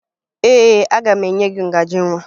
Ee, aga m enye gị ngaji nwa